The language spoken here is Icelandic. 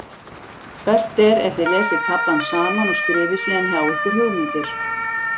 Best er ef þið lesið kaflann saman og skrifið síðan hjá ykkur hugmyndir.